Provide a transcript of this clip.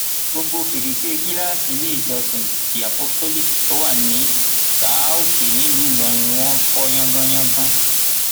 gbogbo fèrèsé gíláàsì iléèjọsìn the apostolic tó wà ní são òkè nílùú ìlọrin ni wọn fọ yangàn yangàn